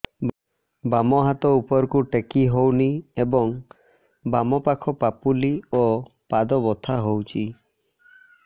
ବାମ ହାତ ଉପରକୁ ଟେକି ହଉନି ଏବଂ ବାମ ପାଖ ପାପୁଲି ଓ ପାଦ ବଥା ହଉଚି